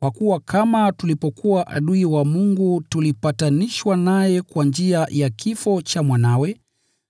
Kwa kuwa kama tulipokuwa adui wa Mungu tulipatanishwa naye kwa njia ya kifo cha Mwanawe,